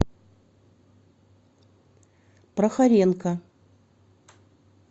прохоренко